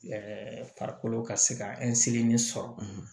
farikolo ka se ka sɔrɔ